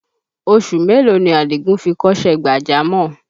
Oṣù mélòó ni Àdìgún fi kọ́ṣẹ́ gbàjámọ̀?